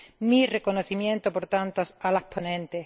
Mi reconocimiento, por tanto, a las ponentes.